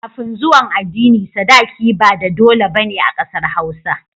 Kafin zuwan adini sadaki ba da dole bane a ƙasar hausa